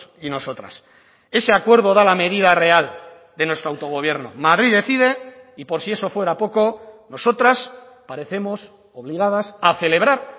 y nosotras ese acuerdo da la medida real de nuestro autogobierno madrid decide y por si eso fuera poco nosotras parecemos obligadas a celebrar